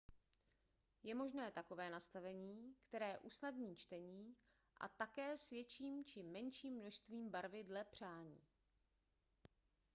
je možné takové nastavení které usnadní čtení a také s větším či menším množství barvy dle přání